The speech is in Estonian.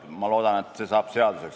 Ma loodan, et see saab seaduseks.